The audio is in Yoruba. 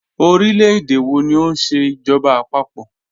Ọ̀rílẹ̀-èdè wọ̀ ní o nṣẹ ijọba àpapọ̀?